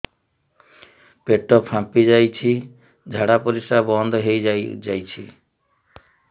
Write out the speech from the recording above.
ପେଟ ଫାମ୍ପି ଯାଇଛି ଝାଡ଼ା ପରିସ୍ରା ବନ୍ଦ ହେଇଯାଇଛି